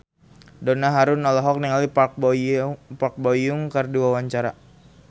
Donna Harun olohok ningali Park Bo Yung keur diwawancara